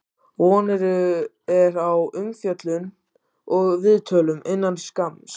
Von er á umfjöllun og viðtölum innan skamms.